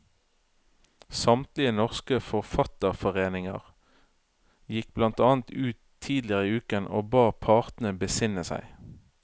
Samtlige norske forfatterforeninger gikk blant annet ut tidligere i uken og ba partene besinne seg.